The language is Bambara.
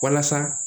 Walasa